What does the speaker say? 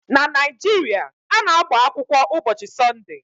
Na Naịjiria, a na-agba akwụkwọ ụbọchị Sọnde